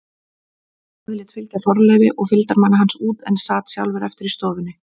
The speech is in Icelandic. Daði lét fylgja Þorleifi og fylgdarmanni hans út en sat sjálfur eftir í stofunni.